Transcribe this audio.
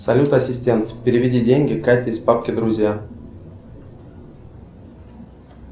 салют ассистент переведи деньги кате из папки друзья